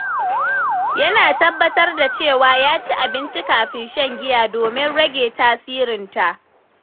Yana tabbatar da cewa ya ci abinci kafin shan giya domin rage tasirinta.